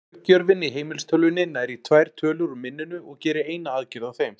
Örgjörvinn í heimilistölvunni nær í tvær tölur úr minninu og gerir eina aðgerð á þeim.